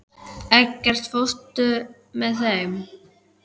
Eggert, ekki fórstu með þeim?